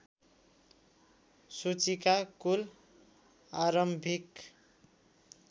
सूचीका कुल आरम्भिक